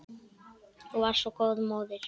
Þú varst svo góð móðir.